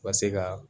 U ka se ka